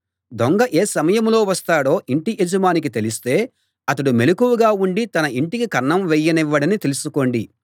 దొంగ ఏ సమయంలో వస్తాడో ఇంటి యజమానికి తెలిస్తే అతడు మెలకువగా ఉండి తన ఇంటికి కన్నం వేయనివ్వడని తెలుసుకోండి